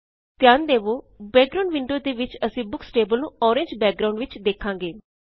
ਧਿਆਨ ਦੇਵੋ background window ਦੇ ਵਿੱਚ ਅਸੀਂ ਬੁਕਸ ਟੇਬਲ ਨੂੰ ਔਰੇਨਜ ਬੈਕਗ੍ਰਾਉਨਡ ਵਿਚ ਵੇਖਾਂਗੇ